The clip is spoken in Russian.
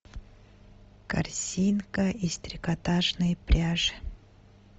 корзинка из трикотажной пряжи